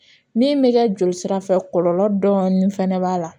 Min bɛ kɛ joli sira fɛ kɔlɔlɔ dɔɔni fana b'a la